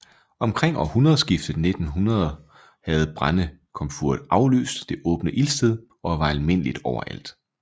Omkring århundredeskiftet 1900 havde brændekomfuret afløst det åbne ildsted og var almindeligt overalt